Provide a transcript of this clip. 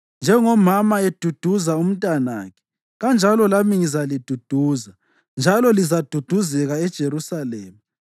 Njengomama eduduza umntanakhe, kanjalo lami ngizaliduduza, njalo lizaduduzeka eJerusalema.”